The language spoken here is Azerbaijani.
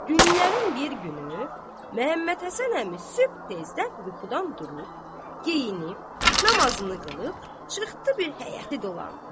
Günlərin bir günü Məhəmməd Həsən əmi sübh tezdən yuxudan durub, geyinib, namazını qılıb, çıxdı bir həyəti dolandı.